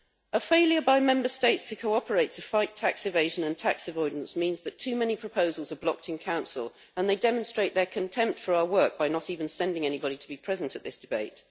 A failure by Member States to cooperate to fight tax evasion and tax avoidance means that too many proposals are blocked in Council, which demonstrates its contempt for our work by not even sending anybody to be present at this debate.